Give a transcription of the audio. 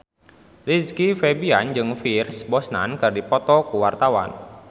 Rizky Febian jeung Pierce Brosnan keur dipoto ku wartawan